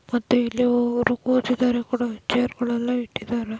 ಮತ್ತೆ ಇಲ್ಲಿ ಕೂತಿದ್ದಾರೆ ಕೂಡ ಚೇರ್ಗಳೆಲ್ಲಾ ಇಟ್ಟಿದ್ದಾರೆ.